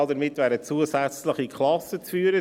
Damit wären zusätzliche Klassen zu führen.